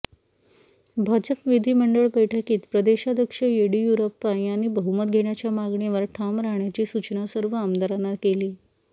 भाजप विधिमंडळ बैठकीत प्रदेशाध्यक्ष येडियुराप्पा यांनी बहुमत घेण्याच्या मागणीवर ठाम राहण्याची सूचना सर्व आमदारांना केली